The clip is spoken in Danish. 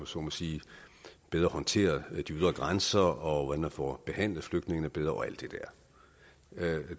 så må sige bedre håndteret de ydre grænser og hvordan man får behandlet flygtningene bedre og alt